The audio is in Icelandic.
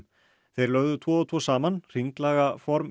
þeir lögðu tvo og tvo saman hringlaga form